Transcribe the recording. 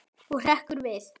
Og hrekkur við.